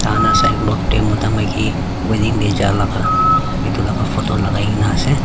takan la sign board de mota maiki wedding de ja laga etu laka photo lagai kina ase.